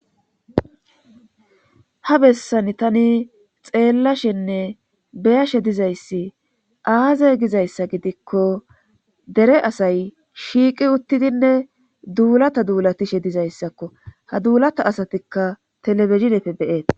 Ha bessan tani xeellashenne beyashe dizayssi aaze gizayssa gidikko dere asay shiiqi uttidinne duulata duulatishe dizayssakko ha duulata asatikka telebezinepfe beeet.